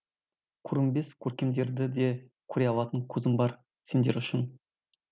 көрінбес көркемдерді де көре алатын көзім бар сендер үшін